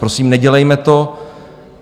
Prosím, nedělejme to.